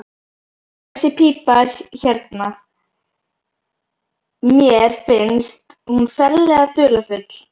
Þessi pípa hérna. mér finnst hún ferlega dularfull.